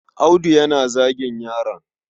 Audu yana zagin yaron.